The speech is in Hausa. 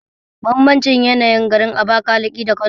Bambance yanayin garin Abakalaki da Kano